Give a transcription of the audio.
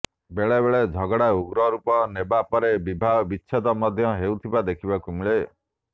ବେଳେ ବେଳେ ଝଗଡ଼ା ଉଗ୍ର ରୂପ ନେବା ପରେ ବିବାହ ବିଚ୍ଛେଦ ମଧ୍ୟ ହେଉଥିବା ଦେଖିବାକୁ ମିଳେ